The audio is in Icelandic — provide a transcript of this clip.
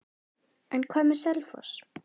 En hvað með Selfoss?